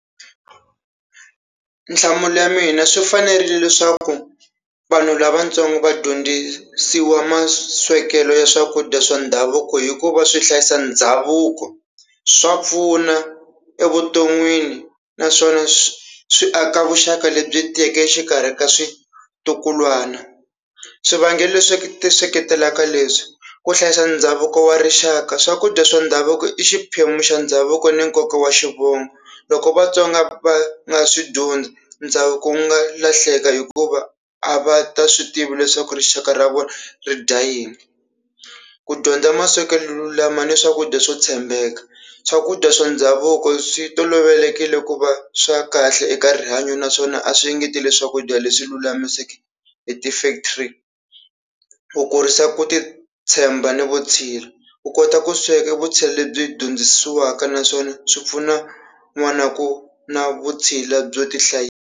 Nhlamulo ya mina swi fanerile leswaku vanhu lavatsongo va dyondzisiwa maswekelo ya swakudya swa ndhavuko hikuva swi hlayisa ndhavuko, swa pfuna evuton'wini naswona swi aka vuxaka lebyi tiyeke exikarhi ka switukulwana, swivangelo leswi ti seketelaka leswi ku hlayisa ndhavuko wa rixaka swakudya swa ndhavuko i xiphemu xa ndhavuko ni nkoka wa xivongo loko vatsonga va nga swi dyondzi, ndhavuko wu nga lahleka hikuva a va nga swi tivi leswaku rixaka ra vona ri dya yini, ku dyondza maswekelo lama ni swakudya swo tshembeka swakudya swa ndhavuko swi tolovelekile ku va swa kahle eka rihanyo naswona a swi engeteleli swakudya leswi lulamisekeke hi ti-factory ku kurisa ku titshemba ni vutshila, u kota ku sweka vutshila lebyi hi dyondzisiwaka naswona swi pfuna kun'wana ku na vutshila byo tihlayisa.